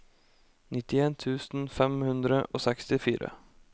nittien tusen fem hundre og sekstifire